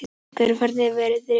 Gurra, hvernig er veðrið úti?